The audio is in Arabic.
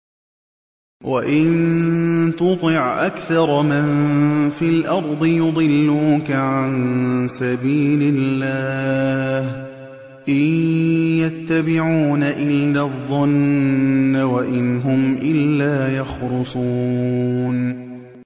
وَإِن تُطِعْ أَكْثَرَ مَن فِي الْأَرْضِ يُضِلُّوكَ عَن سَبِيلِ اللَّهِ ۚ إِن يَتَّبِعُونَ إِلَّا الظَّنَّ وَإِنْ هُمْ إِلَّا يَخْرُصُونَ